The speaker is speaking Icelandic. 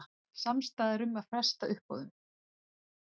Samstaða um að fresta uppboðum